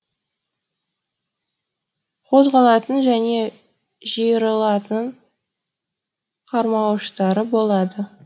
қозғалатын және жиырылатын қармауыштары болады